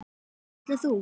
Ætlar þú.?